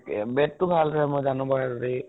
bat টো ভাল চাগে মই জানো